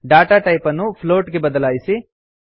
data type ಅನ್ನು float ಗೆ ಬದಲಿಸಿ